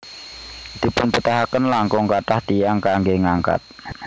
Dipunbetahaken langkung kathah tiyang kanggé ngangkat